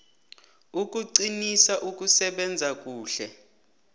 ukuqinisa ukusebenza kuhle